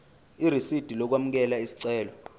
irisidi lokwamukela isicelo